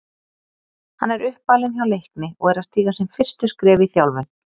Hann er uppalinn hjá Leikni og er að stíga sín fyrstu skref í þjálfun.